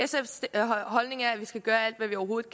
jeg giver ordet